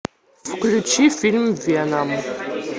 включи фильм веном